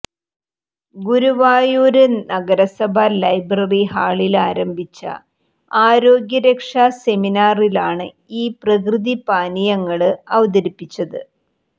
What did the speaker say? ഗുരുവായൂര് നഗരസഭ ലൈബ്രറി ഹാളില് ആരംഭിച്ച ആരോഗ്യരക്ഷാ സെമിനാറിലാണ് ഈ പ്രകൃതിപാനീയങ്ങള് അവതരിപ്പിച്ചത്